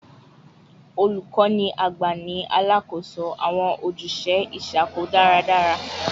Olukọni agba ni alakoso awọn ojuse iṣakoso daradara